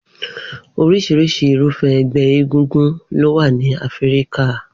Oríṣiríṣi Irúfẹ́ ẹgbẹ́ égúngún ló wà ní Áfíríkà